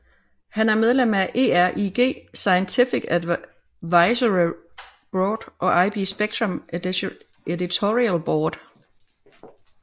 Han er medlem af ERIG Scientific Advisory Board og IEEE Spectrum Editorial Board